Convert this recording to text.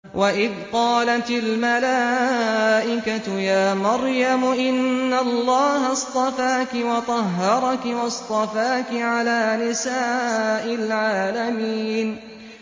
وَإِذْ قَالَتِ الْمَلَائِكَةُ يَا مَرْيَمُ إِنَّ اللَّهَ اصْطَفَاكِ وَطَهَّرَكِ وَاصْطَفَاكِ عَلَىٰ نِسَاءِ الْعَالَمِينَ